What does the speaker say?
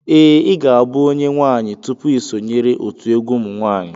Ee, I ga-abụ onye nwaanyị tupu ị sonyere otu egwu ụmụnwaanyị